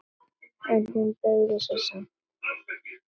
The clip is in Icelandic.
En hún beygði sig samt.